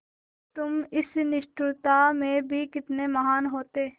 तुम इस निष्ठुरता में भी कितने महान् होते